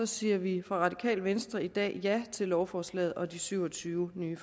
siger vi i radikale venstre i dag ja til lovforslaget og de syv og tyve nye